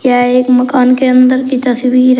यह एक मकान के अंदर की तस्वीर है।